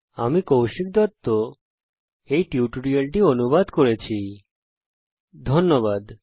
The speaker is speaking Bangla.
আমি কৌশিক দত্ত এই টিউটোরিয়াল টি অনুবাদ করেছি এতে অংশগ্রহন করার জন্য ধন্যবাদ